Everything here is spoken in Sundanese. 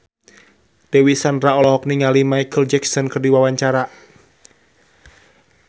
Dewi Sandra olohok ningali Micheal Jackson keur diwawancara